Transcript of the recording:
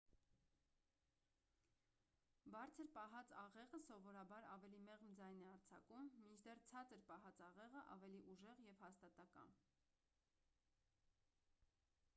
բարձր պահած աղեղը սովորաբար ավելի մեղմ ձայն է արձակում մինչդեռ ցածր պահած աղեղը ավելի ուժեղ և հաստատակամ